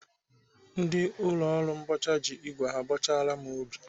Ndị ụlọ ọrụ mbọcha ji igwe ha bọchara m ubi.